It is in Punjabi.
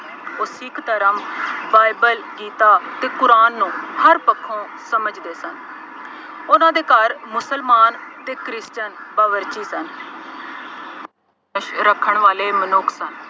ਉਹ ਸਿੱਖ ਧਰਮ, ਬਾਈਬਲ, ਗੀਤਾ ਅਤੇ ਕੁਰਾਨ ਨੂੰ ਹਰ ਪੱਖੋਂ ਸਮਝਦੇ ਸਨ। ਉਹਨਾ ਦੇ ਘਰ ਮੁਸਲਮਾਨ ਅਤੇ ਕ੍ਰਿਸਚਨ ਬਾਵਰਚੀ ਸਨ। ਰੱਖਣ ਵਾਲੇ ਮਨੁੱਖ ਸਨ।